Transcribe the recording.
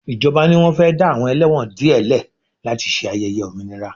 Ìjọba ni wọ́n fẹ́ dá àwọn ẹlẹ́wọ̀n díẹ̀ lẹ̀ láti ṣe ayẹyẹ òmìnira